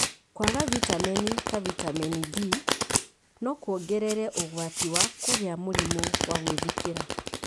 Kwaga vitamini ta vitamini D no kũongerere ũgwati wa kũgĩa mũrimũ wa gwĩthikĩra.